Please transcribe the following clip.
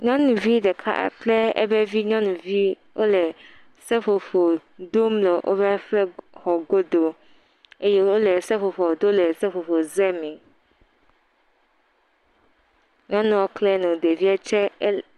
nyanuvi ɖeka kple ebe vi nyanuvi wóle seƒƒoƒowo dom le wobe ƒe xɔ godó eye wóle seƒƒoƒowɔ do le seƒƒoƒowo zɛ mɛ nyɔnuɔ kle ɖevie tsɛ ee…